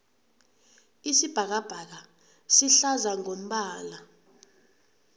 isibhakabhaka sihlaza ngombala